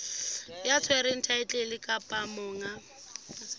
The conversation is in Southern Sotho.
ya tshwereng thaetlele kapa monga